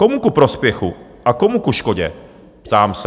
Komu ku prospěchu a komu ku škodě? ptám se.